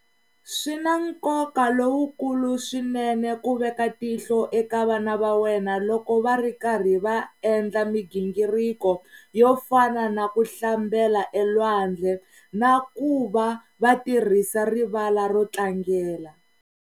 Swi na nkoka lowukulu swinene ku veka tihlo eka vana va wena loko va ri karhi va endla migingiriko yo fana na ku hlambela elwandle na ku va va tirhisa rivala ro tlangela.